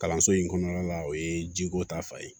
Kalanso in kɔnɔna la o ye jiko ta fan ye